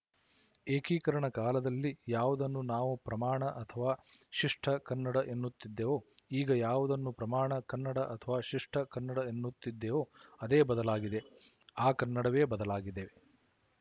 ಏಕೀಕರಣದ ಕಾಲದಲ್ಲಿ ಯಾವುದನ್ನು ನಾವು ಪ್ರಮಾಣ ಅಥವಾ ಶಿಷ್ಟ ಕನ್ನಡ ಎನ್ನುತ್ತಿದ್ದವೋ ಈಗ ಯಾವುದನ್ನು ಪ್ರಮಾಣ ಕನ್ನಡ ಅಥವಾ ಶಿಷ್ಟ ಕನ್ನಡ ಎನ್ನುತ್ತಿದ್ದೇವೋ ಅದೇ ಬದಲಾಗಿದೆ ಆ ಕನ್ನಡವೇ ಬದಲಾಗಿದೆ